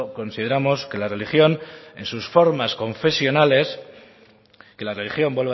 consideramos que la religión